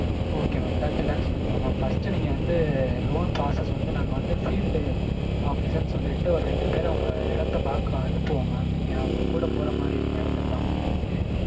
okay mam thirty lakhs வேணுமா mam first நீங்க வந்து loan process வந்து நாங்க வந்து field officer னு சொல்லிட்டு ஒரு ரெண்டு பேர் அந்த இடத்த பாக்க அனுப்புவோம் mam. நீங்க அவங்க கூட போற மாதிரி இருக்கும். இடத்த காமிக்கறதுக்கு.